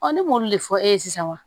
ne m'olu de fɔ e ye sisan wa